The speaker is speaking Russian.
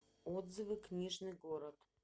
отзывы книжный город